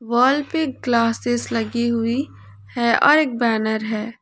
Wall पे glasses लगी हुई है और एक बैनर है।